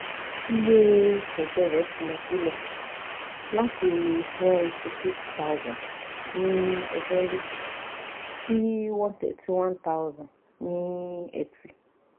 iye ẹjẹ rẹ ti lọ silẹ lati one hundred eighty six thousand ni ọjọru si one hundred thirty one thousand ni eti